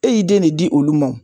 E y'i den ne di olu ma o